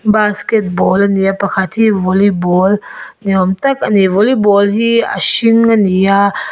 basketball ania pakhat hi volleyball ni awm tak ani volleyball hi a hring ani a.